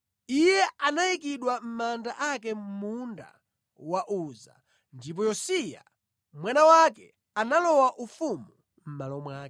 Iye anayikidwa mʼmanda ake mʼmunda wa Uza. Ndipo Yosiya mwana wake analowa ufumu mʼmalo mwake.